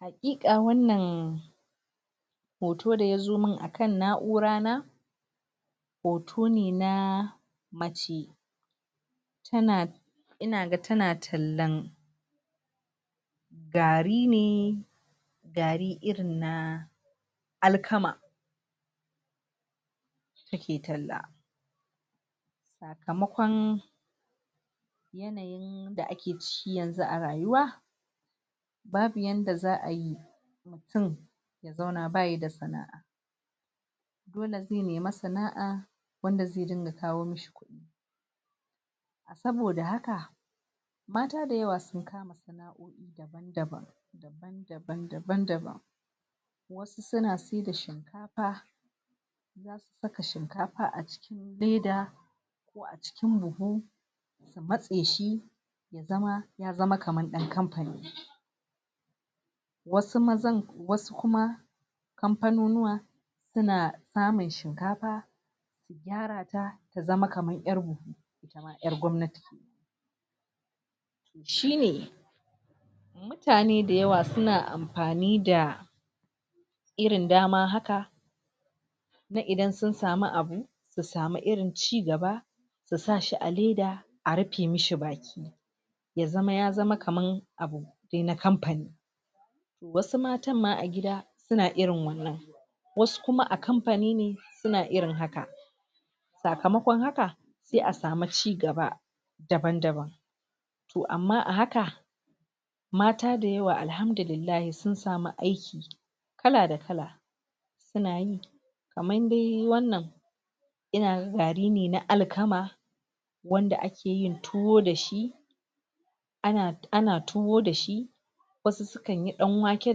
Haƙiƙa wannan hoto daya zo min akan na'urana hoto ne na mace tana inaga ta tallan gari ne gari irin na alkama take talla, sakamakon yanayi da ake ciki yanzu a rayuwa babu yanda za'ayi mutum ya zauna bayida sana'a. Dole ze nema sana'a wanda ze dinga kawo mishi kudi, saboda haka mata da yawa sun kama sana'o'i daban-daban daban-daban daban-daban. Wasu suna saida shinkafa, za susaka shinkafa a cikin, leda, ko a cikin buhu su matse shi zama ya zama kaman ɗan kampani. Wasu mazan wasu kuma kampanonuwa suna samun shinkafa su tara ta su zama kaman irin ƴar gwamnati. Shine mutane da yawa suna ampani da irin dama haka na idan sun sami abu su samu irin ci gaba su sashi a leda a ripe mishi baki ya zama yaa zama kaman abu ne na kampani' wasu matan ma a gida suna irin wannan wasu kuma a kampani ne suna irin haka sakamakon haka, se a samu cigaba daban-daban toh amma a haka, mata da yawa Alhamdulillahi sun samu aiki kala da kala suna yi kaman dai wannan inaga gari ne na alkama wanda ake yin tuwo dashi ana ana tuwo dashi wasu sukan yi ɗanwake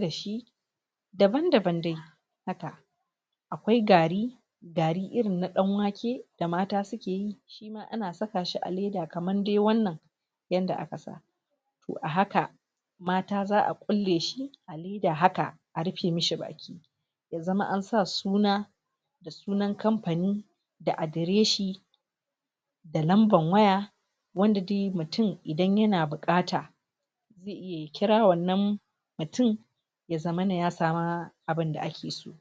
dashi daban-daban dai haka. Akwai gari gari irinna ɗanwake da mata suke yi shima ana saka shi a leda kaman de wannan yanda aka sa toh a haka mata za'a kulle shi da haka a ripe mishi baki ya zama an sa suna da sunan kampani, da adireshi, da lamban waya, wanda dai mutum idan yana bukata ze iya ya kira wannan mutum ya zamana ya sama abunda ake so.